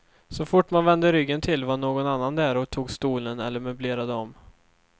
Så fort man vände ryggen till var någon annan där och tog stolen eller möblerade om.